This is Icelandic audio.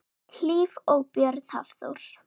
Hlíf og Björn Hafþór.